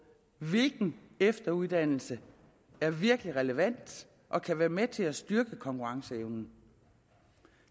hvilken efteruddannelse der virkelig er relevant og kan være med til at styrke konkurrenceevnen